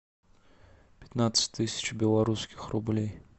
пятнадцать тысяч белорусских рублей